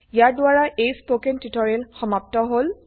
ইয়াৰ দ্বাৰা এই spoken tutorial সমাপ্ত হল